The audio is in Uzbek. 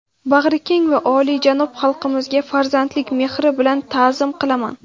bag‘rikeng va olijanob xalqimizga farzandlik mehri bilan ta’zim qilaman.